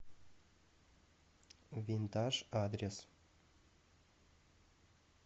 винтаж адрес